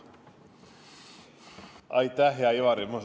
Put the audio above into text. Aitäh, hea Ivari!